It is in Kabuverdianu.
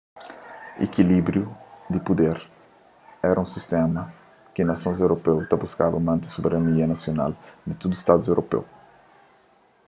ekilíbriu di puder éra un sistéma en ki nasons europeu ta buskaba mante soberania nasional di tudu stadus europeu